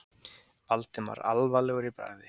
Valdimar alvarlegur í bragði.